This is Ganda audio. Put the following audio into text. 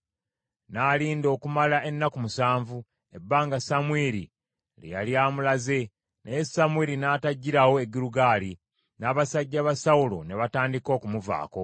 N’alinda okumala ennaku musanvu, ebbanga Samwiri lye yali amulaze, naye Samwiri n’atajjirawo e Girugaali, n’abasajja ba Sawulo ne batandika okumuvaako.